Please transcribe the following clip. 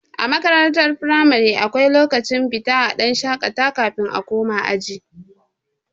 A makarantar firamare akwai lokacin fita a dan shakata kafin a koma aji